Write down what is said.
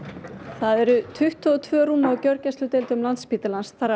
það eru tuttugu og tvö rúm á gjörgæsludeildum Landspítalans þar af